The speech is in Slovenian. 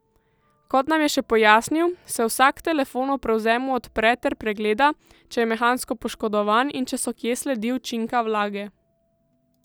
Kot nam je še pojasnil, se vsak telefon ob prevzemu odpre ter pregleda, če je mehansko poškodovan in če so kje sledi učinka vlage.